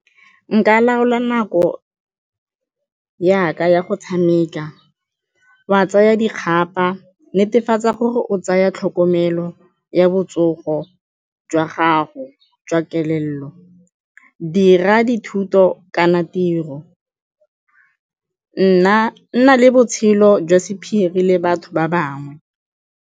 Nka laola nako ya ka ya go tshameka, wa tsaya dikgaba, netefatsa gore o tsaya tlhokomelo ya botsogo jwa gago jwa kelello, dira dithuto kana tiro, nna le botshelo jwa sephiri le batho ba bangwe.